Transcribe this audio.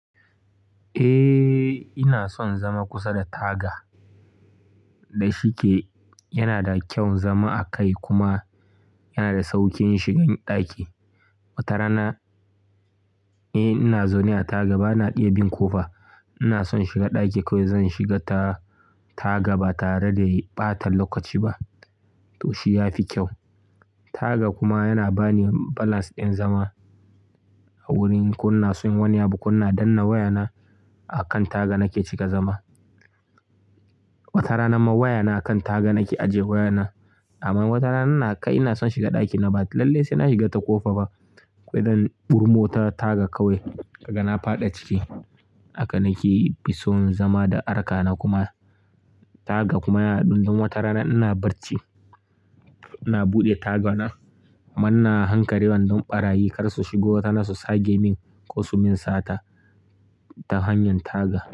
Eh, ina son zama kusa da taga. Da shike yana da kyau zama a kai kuma yana da sauƙin shigan ɗaki. Wata rana eh ina zaune a taga bana iya bin ƙofa. Ina son shiga ɗaki kawai zan shiga ta taga ba tare da ɓata lokaci ba to shi ya fi kyau. Taga kuma yana bani balance ɗin zama a wurin kunna sun wani abu ƙunna danna wayana a kan taga nake cika zama. Wata rana ma wayana a kan taga nake ajiye wayana. Amma watana ina kai ina son shiga ɗakina ba lallai sai na shiga ta ƙofa ba. Kawai zan ɓurmo ta taga kawai kaga na faɗa ciki. Haka nake fi son zama da harka na kuma taga kuma yana ɗum. Wata rana ina barci ina buɗe tagana amma ina hankarewa ɗon ɓarayi kar su shigo. Watara na su sage min ko su min sata ta hanyan taga.